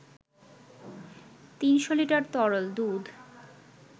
৩০০ litre তরল দুধ